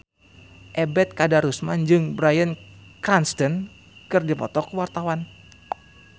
Ebet Kadarusman jeung Bryan Cranston keur dipoto ku wartawan